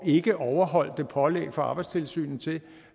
ikke at overholde pålæg fra arbejdstilsynet